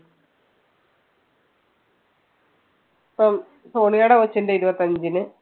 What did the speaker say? ഇപ്പം സോണിയെടെ കൊച്ചിന്റെ ഇരുപത്തിയഞ്ചിന്.